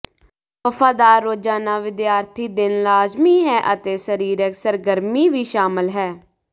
ਵਫ਼ਾਦਾਰ ਰੋਜ਼ਾਨਾ ਵਿਦਿਆਰਥੀ ਦਿਨ ਲਾਜ਼ਮੀ ਹੈ ਅਤੇ ਸਰੀਰਕ ਸਰਗਰਮੀ ਵੀ ਸ਼ਾਮਲ ਹੈ